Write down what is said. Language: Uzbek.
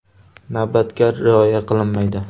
Navbatga rioya qilinmaydi.